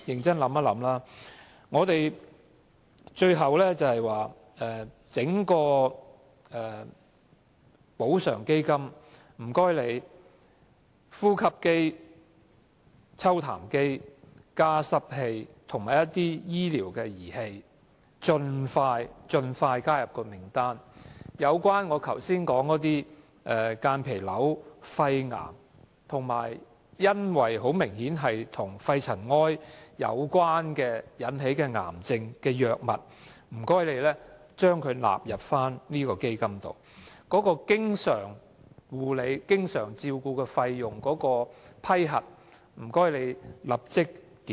最後，懇請當局盡快把呼吸機、抽痰機、加濕機及其他相關醫療儀器列入基金的資助清單，亦請把間皮瘤、肺癌及明顯與肺塵埃有關的癌症的藥物納入清單，以及立即檢討經常照顧費的批核程序。